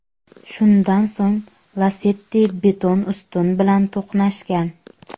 Shundan so‘ng Lacetti beton ustun bilan to‘qnashgan.